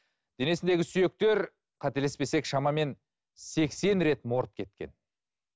денесіндегі сүйектер қателеспесек шамамен сексен рет морт кеткен